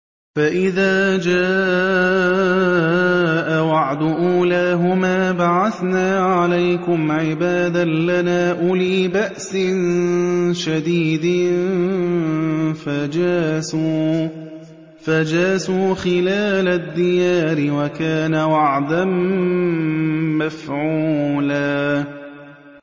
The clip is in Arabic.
فَإِذَا جَاءَ وَعْدُ أُولَاهُمَا بَعَثْنَا عَلَيْكُمْ عِبَادًا لَّنَا أُولِي بَأْسٍ شَدِيدٍ فَجَاسُوا خِلَالَ الدِّيَارِ ۚ وَكَانَ وَعْدًا مَّفْعُولًا